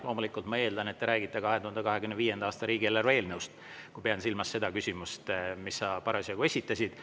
Loomulikult ma eeldan, et te räägite 2025. aasta riigieelarve eelnõust, kui pean silmas seda küsimust, mille sa parasjagu esitasid.